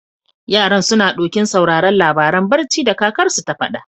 Yaran, suna ɗokin sauraren labaran barci da kakarsu ta faɗa.